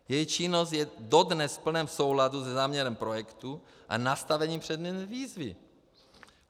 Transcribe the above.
Její činnost je dodnes v plném souladu se záměrem projektu a nastaveným předmětem výzvy.